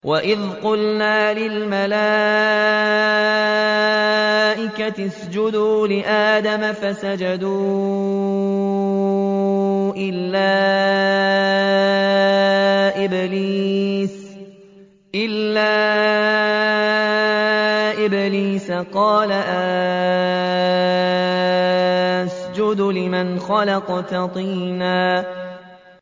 وَإِذْ قُلْنَا لِلْمَلَائِكَةِ اسْجُدُوا لِآدَمَ فَسَجَدُوا إِلَّا إِبْلِيسَ قَالَ أَأَسْجُدُ لِمَنْ خَلَقْتَ طِينًا